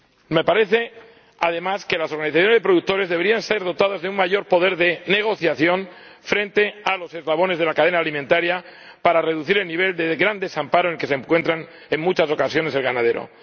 Me parece, además, que las organizaciones de productores deberían ser dotadas de un mayor poder de negociación frente a los eslabones de la cadena alimentaria para reducir el nivel de gran desamparo en el que se encuentran, en muchas ocasiones, los ganaderos.